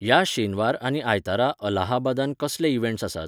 ह्या शेनवार आनी आयतारा अल्लाहाबादांत कसले इवँट्स आसात?